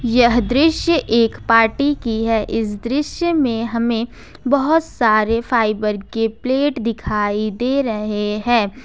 यह दृश्य एक पार्टी की है इस दृश्य में हमे बहोत सारे फाइबर के प्लेट दिखाई दे रहे हैं।